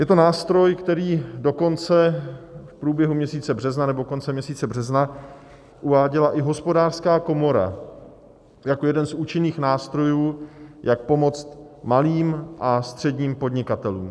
Je to nástroj, který dokonce v průběhu měsíce března nebo koncem měsíce března uváděla i Hospodářská komora jako jeden z účinných nástrojů, jak pomoct malým a středním podnikatelům.